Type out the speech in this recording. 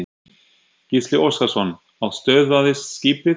Gísli Óskarsson: Og stöðvaðist skipið?